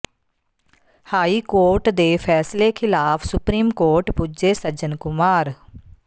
high court ਦੇ ਫੈਸਲੇ ਖਿਲਾਫ ਸੁਪਰੀਮ ਕੋਰਟ ਪੁੱਜੇ ਸੱਜਣ ਕੁਮਾਰ